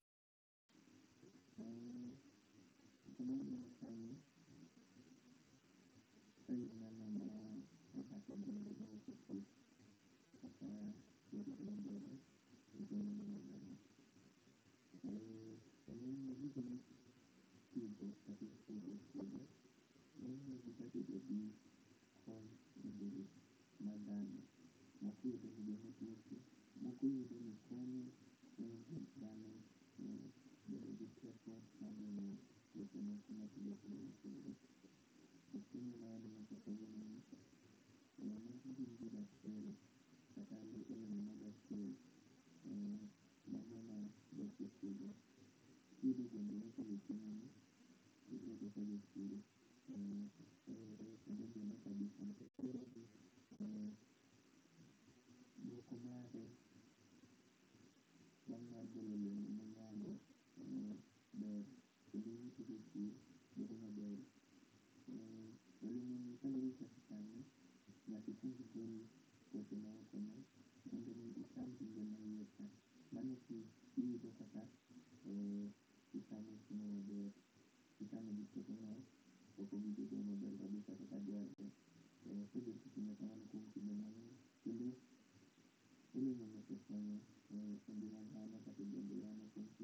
not audible